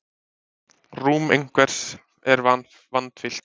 Rúm einhvers er vandfyllt